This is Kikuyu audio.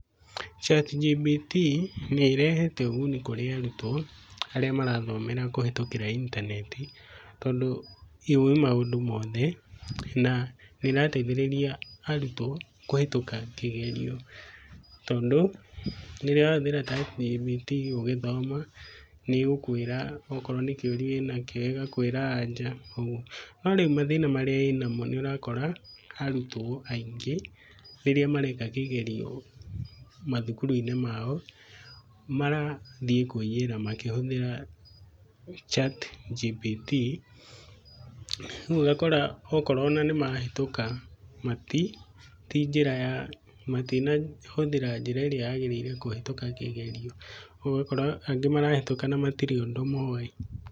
ChatGPT nĩrehete ũguni kũrĩ arutwo arĩa marathomera kũhĩtũkĩra intanenti tondũ yũĩ maũndũ mothe na nĩrateithĩrĩria arutwo kũhĩtũka kĩgerio tondũ rĩrĩa wahũthĩra ChatGPT ũgĩthoma nĩgũkwĩra okorwo nĩkĩũria wĩnakĩo ĩgakwĩra aja. Norĩu mathĩna marĩa ĩnamo nĩũrakora arutwo aĩngĩ rĩrĩa mareka kĩgerio mathukuru-inĩ mao marathiĩ kwĩyĩra makĩhũthĩra ChatGPT, rĩũ ũgakora okorwo onanĩmahĩtũka matinahũthĩra, tinjĩra ya , matinahũthĩra njĩra ĩrĩa yagĩrĩire kũhĩtũka kĩgerio. ũgakora angĩ marahĩtũka nagũtirĩ ũndũ moĩ.